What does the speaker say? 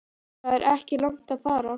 Það er ekki langt að fara.